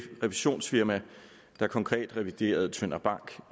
revisionsfirma der konkret reviderede tønder bank